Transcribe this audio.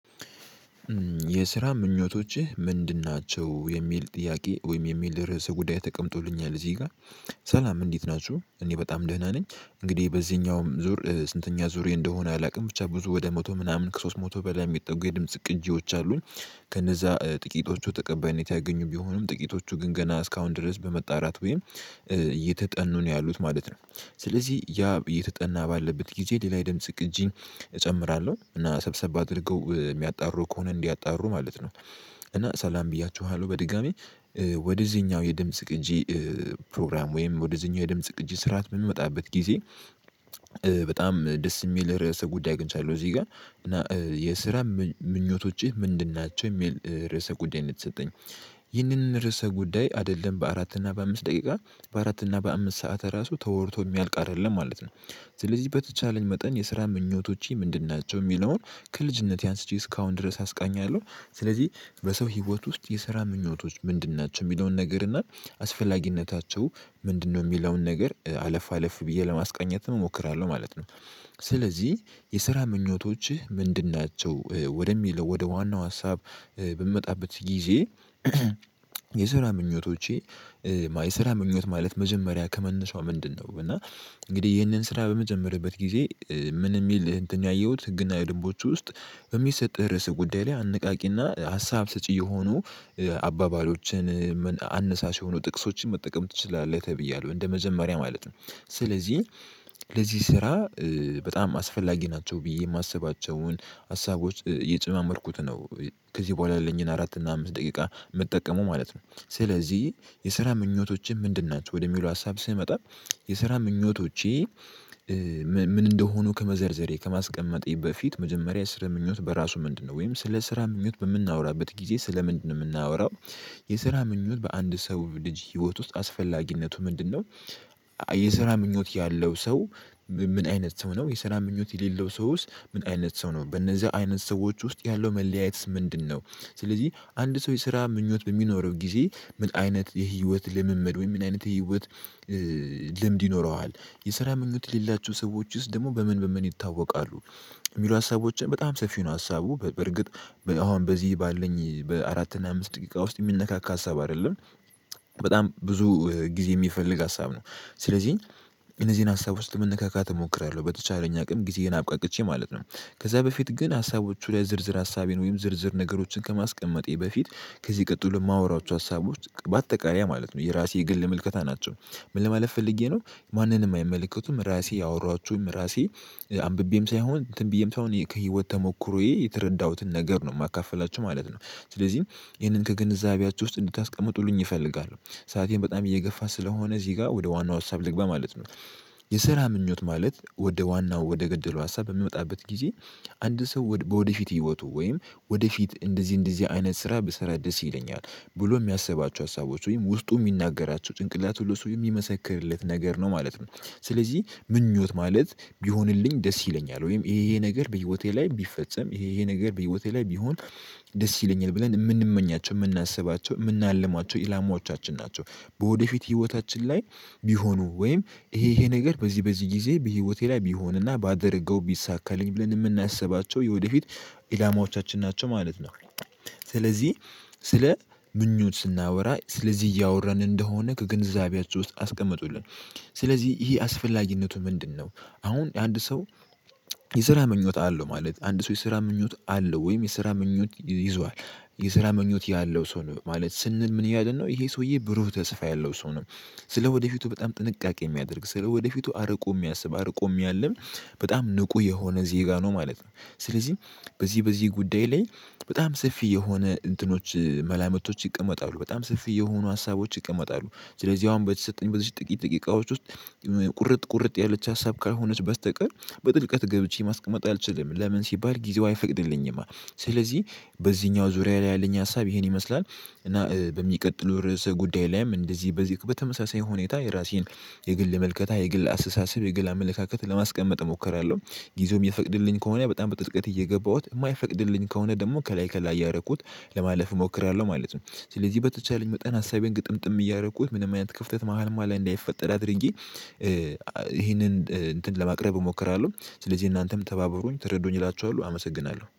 የስራ ምኞቶችህ ምንድን ናቸው የሚል ጥያቄ ወይም የሚል ርዕስ ጉዳይ ተቀምጦልኛል እዚህ ጋር። ሰላም እንዴት ናችሁ እኔ በጣም ደህና ነኝ እንግዲህ በዚህኛውም ዙር ስንተኛ ዙር እንደሆነ አላውቅም ብቻ ብዙ ወደ መቶ ምናምን ከሶስት መቶ በላይ የሚጠጉ የድምጽ ቅጂዎች አሉኝ። ከነዛ ጥቂቶቹ ተቀባይነት ያገኙ ቢሆኑም ጥቂቶቹ ግን ገና እስካሁን ድረስ በመጣራት ወይም እየተጠኑ ነው ያሉት ማለት ነው። ስለዚህ ያ እየተጠና ባለበት ጊዜ ሌላ የድምጽ ቅጂ እጨምራለሁ እና ሰብሰብ አድርገው የሚያጣሩ ከሆነ እንዲያጣሩ ማለት ነው። እና ሰላም ብያችኋለሁ በድጋሚ። ወደዚህኛው የድምጽ ቅጂ ፕሮግራም ወይም ወደዚህኛው የድምጽ ቅጂ ስርዓት የምመጣበት ጊዜ። በጣም ደስ የሚል ርዕሰ ጉዳይ አግንቻለው እዚህ ጋር እና የስራ ምኞቶችህ ምንድን ናቸው የሚል ርዕሰ ጉዳይ ነው የተሰጠኝ። ይህንን ርዕሰ ጉዳይ አይደለም በአራት እና በአምስት ደቂቃ በአራት እና በአምስት ሰዓት ራሱ ተወርቶ የሚያልቅ አይደለም ማለት ነው። ስለዚህ በተቻለኝ መጠን የስራ ምኞቶቼ ምንድን ናቸው የሚለውን ከልጅነቴ አንስቼ እስካሁን ድረስ አስቃኛለሁ። ስለዚህ በሰው ህይወት ውስጥ የስራ ምኞቶች ምንድን ናቸው የሚለውን ነገር እና አስፈላጊነታቸው ምንድነው የሚለውን ነገር አለፍ አለፍ ብዬ ለማስቃኘት እሞክራለሁ ማለት ነው። ስለዚህ የስራ ምኞቶችህ ምንድን ናቸው ወደሚለው ወደ ዋናው ሀሳብ በምመጣበት ጊዜ። የስራ ምኞቶቼ የስራ ምኞት ማለት መጀመሪያ ከመነሻው ምንድነው? እና እንግዲህ ይህንን ስራ በምጀመርበት ጊዜ ምን የሚል ህግ ያየሁት ህግና ደንቦች ውስጥ። በሚሰጥህ ርዕስ ጉዳይ ላይ አንቃቂና ሀሳብ ሰጪ የሆኑ አባባሎችን አነሳሽ የሆኑ ጥቅሶችን መጠቀም ትችላለህ። ተብያለሁ እንደ መጀመሪያ ማለት ነው። ስለዚህ ለዚህ ስራ በጣም አስፈላጊ ናቸው ብዬ የማስባቸውን ሀሳቦች እየጨማመርኩት ነው። ከዚህ በኋላ ያለኝን አራት እና አምስት ደቂቃ የምጠቀመው ማለት ነው። ስለዚህ የስራ ምኞቶችን ምንድን ናቸው ወደሚለው ሀሳብ ስመጣ የስራ ምኞቶቼ ምን እንደሆኑ ከመዘርዘሬ ከማስቀመጤ በፊት መጀመሪያ የስራ ምኞት በራሱ ምንድነው? ወይም ስለ ስራ ምኞት በምናወራበት ጊዜ ስለ ምንድነው የምናወራው? የስራ ምኞት በአንድ ሰው ልጅ ህይወት ውስጥ አስፈላጊነቱ ምንድነው? የስራ ምኞት ያለው ሰው ምን አይነት ሰው ነው? የስራ ምኞት የሌለው ሰውስ ምን አይነት ሰው ነው? በእነዚህ አይነት ሰዎች ውስጥ ያለው መለያየትስ ምንድነው? ስለዚህ አንድ ሰው የስራ ምኞት በሚኖረው ጊዜ ምን አይነት የህይወት ልምምድ ወይ ምን አይነት የህይወት ልምድ ይኖረዋል። የስራ ምኞት የሌላቸው ሰዎችስ ደግሞ በምን በምን ይታወቃሉ? የሚሉ ሀሳቦችን በጣም ሰፊ ነው ሀሳቡ በርግጥ አሁን በዚህ ባለኝ በአራት እና አምስት ደቂቃ ውስጥ የሚነካካ ሀሳብ አይደለም። በጣም ብዙ ጊዜ የሚፈልግ ሀሳብ ነው። ስለዚህ እነዚህን ሀሳብ ውስጥ መነካካት እሞክራለሁ በተቻለኝ አቅም ጊዜህን አብቃቅቼ ማለት ነው። ከዛ በፊት ግን ሀሳቦቹ ላይ ዝርዝር ሀሳቤን ወይም ዝርዝር ነገሮችን ከማስቀመጤ በፊት ከዚህ ቀጥሎ የማወራቸው ሀሳቦች በአጠቃላይ ማለት ነው የራሴ የግል ምልከታ ናቸው። ምን ለማለት ፈልጌ ነው። ማንንም አይመለከቱም። ራሴ ያወራኋቸውም ራሴ አንብቤም ሳይሆን ተንብዬም ሳይሆን ከህይወት ተሞክሮዬ የተረዳሁትን ነገር ነው የማካፍላችሁ ማለት ነው። ስለዚህ ይህንን ከግንዛቤያችሁ ውስጥ እንድታስቀምጡልኝ እፈልጋለሁ ሰአቴን በጣም እየገፋ ስለሆነ እዚህ ጋር ወደ ዋናው ሀሳብ ልግባ ማለት ነው። የስራ ምኞት ማለት ወደ ዋናው ወደ ገደለው ሀሳብ በምንመጣበት ጊዜ አንድ ሰው ወደፊት ህይወቱ ወይም ወደፊት እንደዚህ እንደዚህ አይነት ስራ ብሰራ ደስ ይለኛል። ብሎ የሚያስባቸው ሀሳቦች ወይም ውስጡ የሚናገራቸው ጭንቅላት ሁሉ ሰው የሚመሰክርለት ነገር ነው ማለት ነው። ስለዚህ ምኞት ማለት ቢሆንልኝ ደስ ይለኛል ወይም ይሄ ይሄ ነገር በህይወቴ ላይ ቢፈጸም ይሄ ይሄ ነገር በህይወቴ ላይ ቢሆን። ደስ ይለኛል ብለን የምንመኛቸው የምናስባቸው የምናልማቸው ኢላማዎቻችን ናቸው። በወደፊት ህይወታችን ላይ ቢሆኑ ወይም ይሄ ይሄ ነገር በዚህ በዚህ ጊዜ በህይወቴ ላይ ቢሆንና ባደርገው ቢሳካልኝ ብለን የምናስባቸው የወደፊት ኢላማዎቻችን ናቸው ማለት ነው። ስለዚህ ስለ ምኞት ስናወራ ስለዚህ እያወራን እንደሆነ ከግንዛቢያችሁ ውስጥ አስቀመጡልን። ስለዚህ ይሄ አስፈላጊነቱ ምንድነው? አሁን አንድ ሰው የስራ ምኞት አለው ማለት አንድ ሰው የስራ ምኞት አለው ወይም የስራ ምኞት ይዟል የስራ ምኞት ያለው ሰው ነው ማለት ስንል ምን ይላል ነው ይሄ ሰውዬ ብሩህ ተስፋ ያለው ሰው ነው። ስለ ወደፊቱ በጣም ጥንቃቄ የሚያደርግ ስለ ወደፊቱ አርቆ የሚያስብ አርቆ የሚያለም በጣም ንቁ የሆነ ዜጋ ነው። ማለት ነው። ስለዚህ በዚህ በዚህ ጉዳይ ላይ በጣም ሰፊ የሆነ እንትኖች መላምቶች ይቀመጣሉ በጣም ሰፊ የሆኑ ሀሳቦች ይቀመጣሉ። ስለዚህ አሁን በዚህ በተሰጠኝ በዚህ ጥቂት ጥቂቃዎች ውስጥ ቁርጥ ቁርጥ ያለች ሀሳብ ካልሆነች በስተቀር በጥልቀት ገብቼ ማስቀመጥ አልችልም። ለምን ሲባል ጊዜው አይፈቅድልኝማ። ስለዚህ በዚህኛው ዙሪያ ላይ ያለኝ ሀሳብ ይሄን ይመስላል። እና በሚቀጥለው ርዕሰ ጉዳይ ላይም እንደዚህ በዚህ በተመሳሳይ ሁኔታ የራሴን የግል መልከታ የግል አሰሳሰብ የግል አመለካከት ለማስቀመጥ እሞክራለሁ። ጊዜውም የሚፈቅድልኝ ከሆነ በጣም በጥልቀት እየገባሁት የማይፈቅድልኝ ከሆነ ደግሞ ከላይ ከላይ እያረኩት ለማለፍ እሞክራለሁ ማለት ነው። ስለዚህ በተቻለኝ ወጣን ሀሳቤን ግጥምጥም እያረኩት ምንም አይነት ክፍተት መሃልማ ላይ እንዳይፈጠር አድርጌ ይሄንን እንትን ለማቅረብ እሞክራለሁ። ስለዚህ እናንተም ተባበሩኝኝ ተረዱኝ እላችኋል አመሰግናለሁ